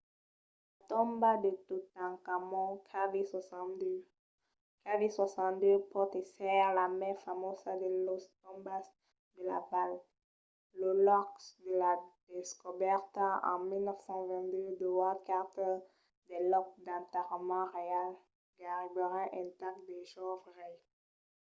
la tomba de totankhamon kv62. kv62 pòt èsser la mai famosa de las tombas de la val lo lòc de la descobèrta en 1922 d’howard carter del lòc d'enterrament reial gaireben intacte del jove rei